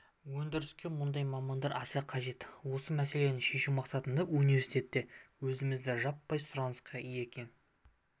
өндіріске мұндай мамандар аса қажет осы мәселені шешу мақсатында университетте өңірімізде жаппай сұранысқа ие кен